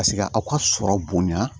Paseke aw ka sɔrɔ bonya